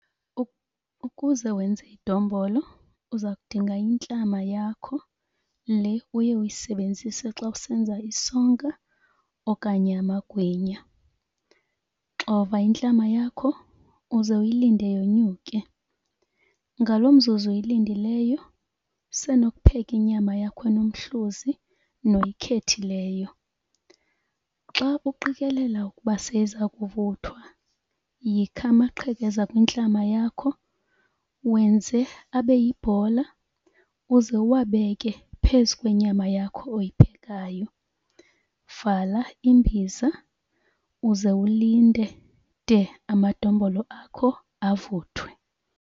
Ukuze wenze idombolo uza kudinga intlama yakho le uye uyisebenzise xa usenza isonka okanye amagwinya. Xova intlama yakho uze uyilinde yonyuke. Ngalo mzuzu uyilindileyo usenokupheka inyama yakho enomhluzi noyikhethileyo. Xa uqikelela ukuba seyiza kuvuthwa yikha amaqhekeza kwintlama yakho, wenze abe yibhola, uze uwabeke phezu kwenyama yakho oyiphekayo. Vala imbiza uze ulinde de amadombolo akho avuthwe.